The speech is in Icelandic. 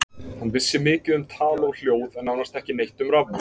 Hann vissi mikið um tal og hljóð en nánast ekki neitt um rafmagn.